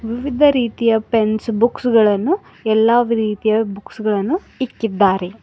ವಿವಿಧ ರೀತಿಯ pens books ಗಳನ್ನು ಎಲ್ಲಾ ರೀತಿಯ ಬುಕ್ಸ್ ಗಳನ್ನು ಇಕ್ಕಿದ್ದಾರೆ.